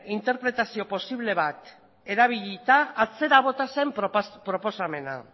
interpretazio posible bat erabilita atzera bota zen proposamena